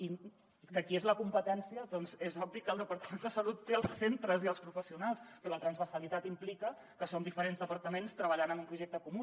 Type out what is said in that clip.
i de qui és la competència doncs és obvi que el departament de salut té els centres i els professionals però la transversalitat implica que som diferents departaments treballant en un projecte comú